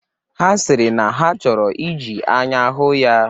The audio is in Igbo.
Ha sịrị na ha chọrọ iji anya hụ ya.